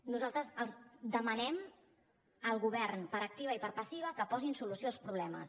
nosaltres els demanem al govern per activa i per passiva que posin solució als problemes